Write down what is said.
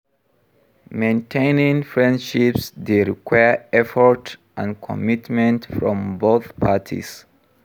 Maintaining friendships dey require effort and commitment from both parties.